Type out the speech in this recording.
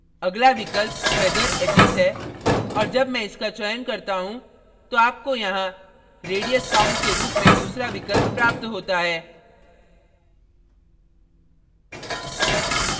अगला विकल्प feather edges है और जब मैं इसका चयन करता हूँ तो आपको यहाँ radius count के रूप में दूसरा विकल्प प्राप्त होता है